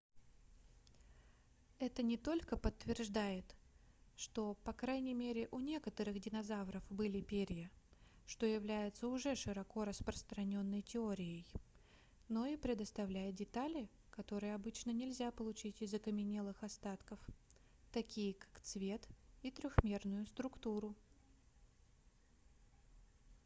это не только подтверждает что по крайней мере у некоторых динозавров были перья что является уже широко распространённой теорией но и предоставляет детали которые обычно нельзя получить из окаменелых остатков такие как цвет и трехмерную структуру